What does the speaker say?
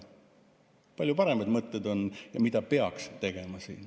On palju paremaid mõtteid, mida peaks tegema.